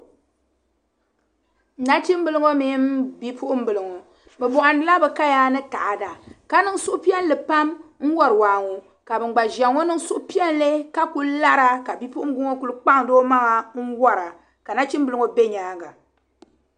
Nachimbili ŋɔ mini bi puɣin bili ŋɔ. bibohindila bikaya ni ta ada ka niŋ suhu piɛli pam n wari waa ŋɔ ka ban gba ziya ŋɔ niŋ suhupiɛli kakul lara ka bi puɣin bilŋɔ kul' kpaŋdi o maŋa n wara ka nachimbiliŋɔ be nyaaŋa.